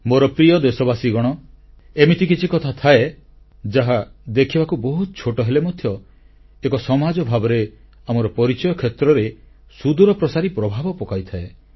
ମୋର ପ୍ରିୟ ଦେଶବାସୀଗଣ ଏମିତି କିଛି କଥା ଥାଏ ଯାହା ଦେଖିବାକୁ ବହୁତ ଛୋଟ ହେଲେ ମଧ୍ୟ ଏକ ସମାଜ ଭାବରେ ଆମର ପରିଚୟ କ୍ଷେତ୍ରରେ ସୁଦୂରପ୍ରସାରୀ ପ୍ରଭାବ ପକାଇଥାଏ